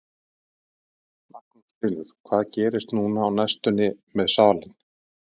Magnús Hlynur: Hvað gerist núna á næstunni með salinn?